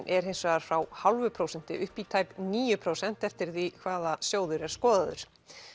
er hins vegar frá hálfu prósenti upp í tæp níu prósent eftir því hvaða sjóður er skoðaður